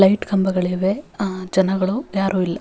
Light ಕಂಬಗಳಿವೆ ಜನಗಳು ಯಾರು ಇಲ್ಲ.